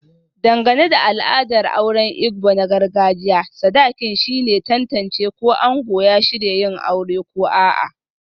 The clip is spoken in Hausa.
Dangane da al'adar auren Igbo na gargajiya, sadakin shine ke tantance ko ango ya shirya yin aure ko a'a.